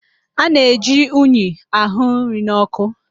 A na-eji unyi àhụ́ nri nọ́kụ́.